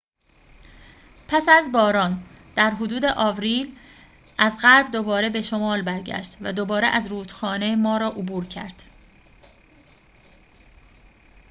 پس از باران در حدود آوریل از غرب دوباره به شمال برگشت و دوباره از رودخانه مارا عبور کرد